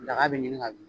Daga bɛ ɲini ka bin